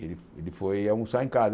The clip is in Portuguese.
Ele ele foi almoçar em casa.